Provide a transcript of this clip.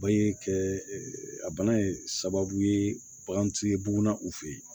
Bange kɛ a bana in sababu ye bagantigi ye bugunda u fɛ yen